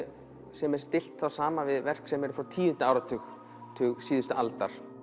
sem er stillt þá saman við verk sem eru frá tíunda áratug áratug síðustu aldar